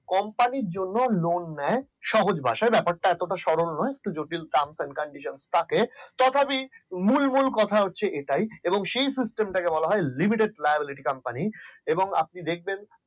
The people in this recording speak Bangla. company জন্য lone নেয় সহজ ভাষায় ব্যাপারটা এতটা সহজ না কিছু condiation থাকে তথাপি মূল মূল কথা হচ্ছে এটাই হ্যাঁ যাক এটা এবং সেই system টাকে বলা হচ্ছে limited libality company এবং আপনি দেখবেন